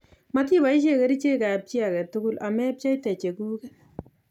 Matiboishe kerichekab chi age tugul amepcheite chekuket